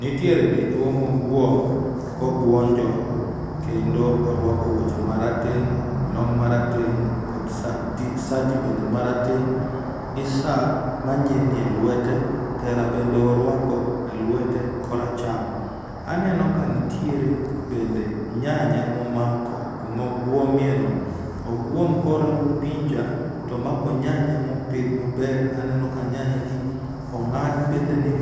Nitiere dichuo moguom kobuonjo kendo koruako wuoche marateng' long' marateng' kod sati bende marateng' gi saa manyilni elwete tera bende oruako e lwete koracham. Aneno kanitiere bende yanya momako kuma oguomieno. Oguom korango picha to oguom komako nyanya ong'ad bethene